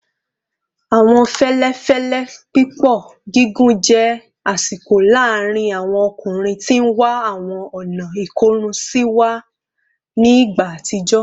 Awọn fẹlẹfẹlẹ pipọ gigun jẹ asiko laarin awọn ọkunrin ti n wa awọn ọna ikorun siwa ni igba atijọ